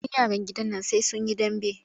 Kullum yaran gidan nan sai sun yi dambe.